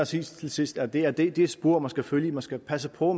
sige til sidst at det er det det spor man skal følge man skal passe på